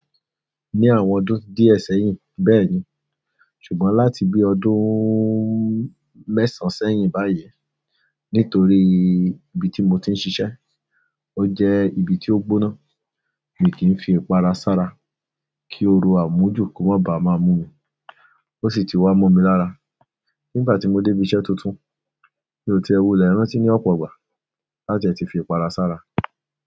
Ní àwọn ọdún díẹ̀ sẹ́hìn bẹ́ẹ̀ni, ṣùgbọ́n láti bi ọdún mẹ́sàn sẹ́hìn báyìí nítorí ibi ti mo ti n sisẹ́, ó jẹ́ ibi ti o gbóná, mi ki n fi ipara sára ki òru àmójúkú má ba ma mú mi. Ó si ti wà mọ̀ mi l'ara nibà ti mo débi iṣẹ́ tuntun, mi ò ti wulè lẹ́rántí ni ọpọ ìgbà lájẹ ti fi ipara sára.